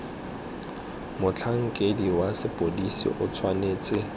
motlhankedi wa sepodisi o tshwanetse